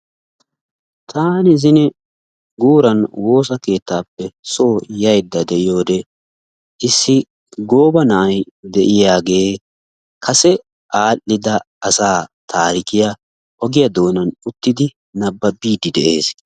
Taani zino guuran woossa keettaappe soo yayda de'iyoo wode issi gooba na'ay de'iyaagee kase al"ida asaa tarikkiyaa ogiyaa doonanuttidi nabaabidi de'ees.